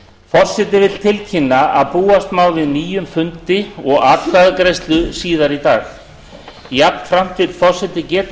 forseti vill tilkynna að búast má við nýjum fundi og atkvæðagreiðslu síðar í dag jafnframt vill forseti geta